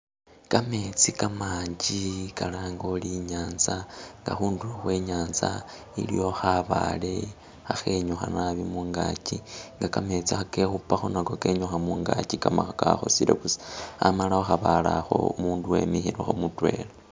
Gametsi gamanji galange uri inyanza nga khundulo khwe inyanza ilyio khabaale khakhenyukha naabi mungazi nga gameetsi agekhupakho nago genyukha mungagi gamala gakhosile busa amala khukhabaale akho umundu wemikhilekho mudwela.